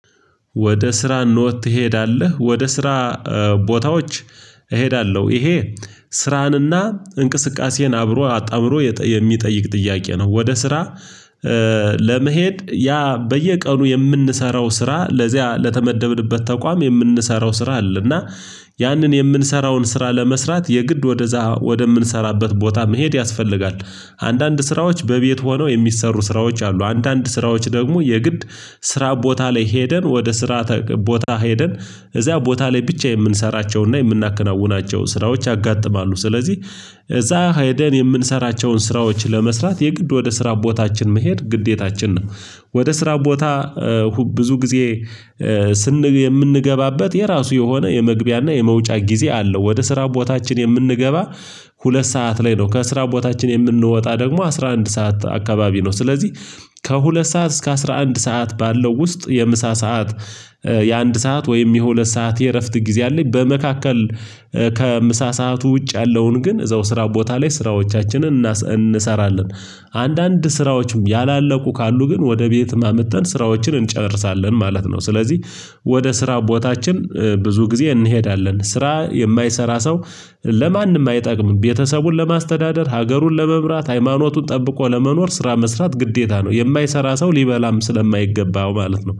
ወደ ስራ ኖት ትሄዳለህ? ወደ ስራ ቦታዎች እሄዳለሁ ይሄ ስራንና እንቅስቃሴን አብሮ አጣምሮ የሚጠይቅ ጥያቄ ነው ወደ ስራ። ለመሄድ ያ በየቀኑ የምንሰራው ስራ ለዚያ ለተመደብንበት ተቋም የምንሰራው ስራ አለ እና ያንን የምንሰራውን ስራ ለመስራት የግድ ወደዛ ወደምንሰራበት ቦታ መሄድ ያስፈልጋል። አንዳንድ ስራዎች በቤት ሆነው የሚሰሩ ስራዎች አሉ። አንዳንድ ስራዎች ደግሞ የግድ ስራ ቦታ ላይ ሄደን ወደ ስራ ቦታ ሄደን እዚያ ቦታ ላይ ብቻ የምንሰራቸውና የምናከናውናቸው ስራዎች ያጋጥማሉ። ስለዚህ እዛ ሄደን የምንሰራቸውን ስራዎች ለመስራት የግድ ወደ ስራ ቦታችን መሄድ ግዴታችን ነው። ወደ ስራ ቦታ ብዙ ጊዜ የምንገባበት የራሱ የሆነ የመግቢያና የመውጫ ጊዜ አለው። ወደ ስራ ቦታችን የምንገባ ሁለት ሰዓት ላይ ነው ከስራ ቦታችን የምንወጣ ደግሞ አስራ አንድ ሰዓት አካባቢ ነው። ስለዚህ ከሁለት ሰዓት እስከ አስራ አንድ ሰዓት ባለው ውስጥ የምሳ ሰዓት የአንድ ሰዓት ወይም የሁለት ሰዓት የእረፍት ጊዜ አለኝ። በመካከል ከምሳ ሰዓቱ ውጭ ያለውን ግን እዛው ስራ ቦታ ላይ ስራዎቻችንን እንሰራለን አንዳንድ ስራዎችም ያላለቁ ካሉ ግን ወደ ቤት አምጥተን ስራዎችን እንጨርሳለን ማለት ነው። ስለዚህ ወደ ስራ ቦታችን ብዙ ጊዜ እንሄዳለን ስራ የማይሰራ ሰው ለማንም አይጠቅምም ቤተሰቡን ለማስተዳደር ሀገሩን ለመምራት ሃይማኖቱን ጠብቆ ለመኖር ስራ መስራት ግዴታ ነው። የማይሰራ ሰው ሊበላም ስለማይገባው ማለት ነው